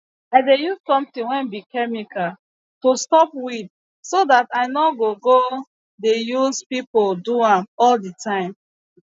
i dey use sometin wey be chemical to stop weed so dat i nor go go dey use pipo do am all de time